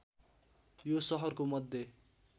यो सहरको मध्य